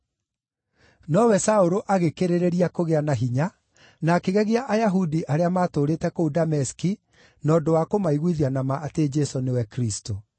Nowe Saũlũ agĩkĩrĩrĩria kũgĩa na hinya, na akĩgegia Ayahudi arĩa maatũũrĩte kũu Dameski na ũndũ wa kũmaiguithia na ma atĩ Jesũ nĩwe Kristũ.